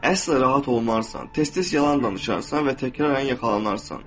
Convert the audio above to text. Əsl rahat olmarsan, tez-tez yalan danışarsan və təkrarən yaxalanarsan.